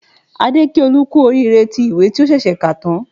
Adé kí Olú kú oríire tí ìwé tí ó ṣẹ̀ṣẹ̀ kà tán